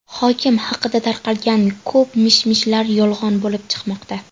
Hokim haqida tarqalgan ko‘p mish-mishlar yolg‘on bo‘lib chiqmoqda.